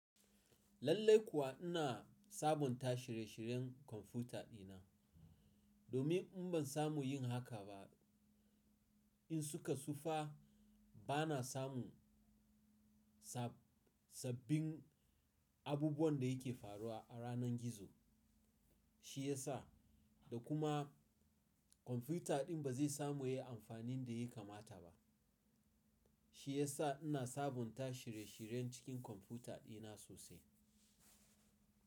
Lallai kuwa ina sabunta shirye-shiryen kwamfuta dina. Domin in ban samu yin haka ba, in suka tsufa bana samu sabbin abubuwan da yake faruwa a ranar gizo. Shi ya sa, da kuma kwamfuta din ba zai samu yi amfani da yi kamata ba. Shi ya sa ina sabunta shire-shiren cikin kwamfuta dina sosai.